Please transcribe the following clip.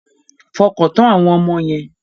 Fọkàntán àwọn ọmọ yẹn.